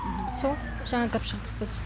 сол жаңа кіріп шықтық біз